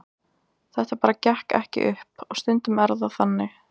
Þetta bara gekk ekki upp og stundum er það þannig.